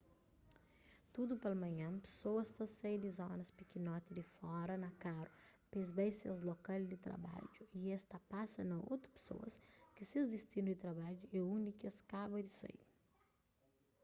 tudu palmanhan pesoas ta sai di zonas pikinoti di fora na karu p-es bai ses lokal di trabadju y es ta pasa na otu pesoas ki ses distinu di trabadju é undi ki es kaba di sai